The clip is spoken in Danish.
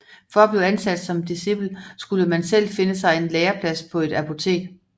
For at blive ansat som discipel skulle man selv finde sig en læreplads på et apotek